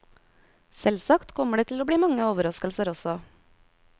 Selvsagt kommer det til å bli mange overraskelser også.